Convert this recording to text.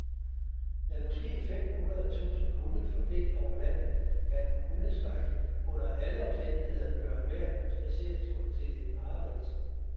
Med måske fem hundrede tusind hunde fordelt over landet kan hundeskræk under alle omstændigheder gøre enhver spadseretur til et mareridt.